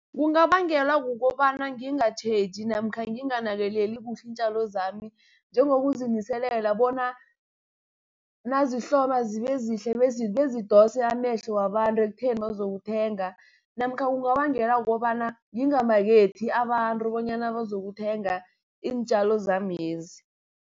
Kungabangelwa kukobana ngingatjheji namkha nginganakeleli kuhle iintjalo zami, njengokuziniselela bona nazihloma zibe zihle bezidose amehlo wabantu ekutheni bazokuthenga. Namkha kungabangelwa kukobana ngingamakethi abantu bonyana bazokuthenga iintjalo zamezi.